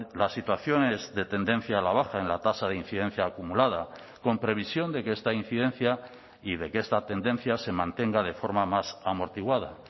la situación es de tendencia a la baja en la tasa de incidencia acumulada con previsión de que esta incidencia y de que esta tendencia se mantenga de forma más amortiguada